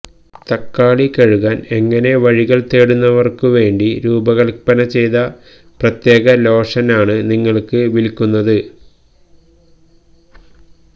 തക്കാളി കഴുകാൻ എങ്ങനെ വഴികൾ തേടുന്നവർക്കു വേണ്ടി രൂപകൽപ്പന ചെയ്ത പ്രത്യേക ലോഷൻ ആണ് നിങ്ങൾക്ക് വിൽക്കുന്നത്